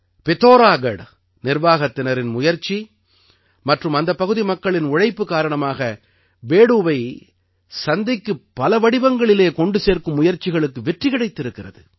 பித்தௌராகட் நிர்வாகத்தினரின் முயற்சி மற்றும் அந்தப் பகுதி மக்களின் ஒத்துழைப்பு காரணமாக பேடூவை சந்தைக்குப் பல வடிவங்களில் கொண்டு செல்லும் முயற்சிகளுக்கு வெற்றி கிடைத்திருக்கிறது